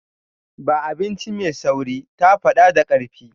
Ba abinci mai sauri”, ta faɗa da ƙarfi.